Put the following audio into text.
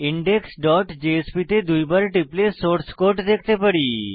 indexজেএসপি তে দুইবার টিপলে সোর্স কোড দেখতে পারি